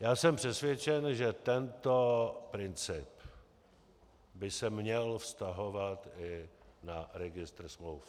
Já jsem přesvědčen, že tento princip by se měl vztahovat i na Registr smluv.